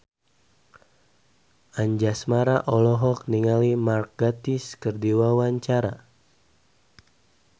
Anjasmara olohok ningali Mark Gatiss keur diwawancara